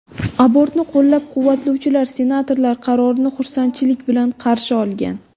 Abortni qo‘llab-quvvatlovchilar senatorlar qarorini xursandchilik bilan qarshi olgan.